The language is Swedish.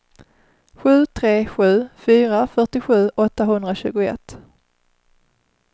sju tre sju fyra fyrtiosju åttahundratjugoett